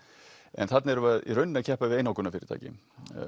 en þarna erum við í rauninni að keppa við einokunarfyrirtæki